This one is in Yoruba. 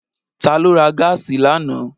Ta ló ra gáàsì lánàá?